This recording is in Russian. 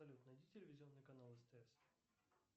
салют найди телевизионный канал стс